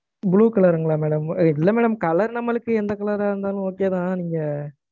Blue colour ங்களா madam? இல்ல madam. Colour நம்மளுக்கு எந்த colour ரா இருந்தாலும், okay தான். நீங்க~